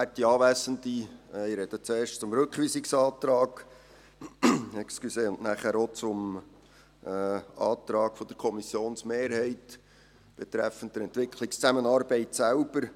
Ich spreche zuerst zum Rückweisungsantrag und nachher auch zum Antrag der Kommissionsmehrheit betreffend die Entwicklungszusammenarbeit selbst.